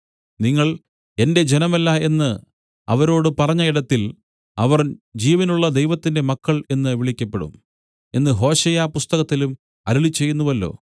നിങ്ങൾ എന്റെ ജനമല്ല എന്നു അവരോട് പറഞ്ഞ ഇടത്തിൽ അവർ ജീവനുള്ള ദൈവത്തിന്റെ മക്കൾ എന്നു വിളിക്കപ്പെടും എന്നു ഹോശേയാപുസ്തകത്തിലും അരുളിച്ചെയ്യുന്നുവല്ലോ